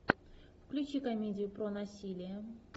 включи комедию про насилие